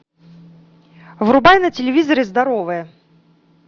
врубай на телевизоре здоровое